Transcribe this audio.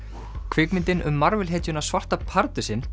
kvikmyndin um Marvel hetjuna svarta pardusinn